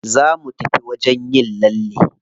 Za mu tafi wajen yin lalle.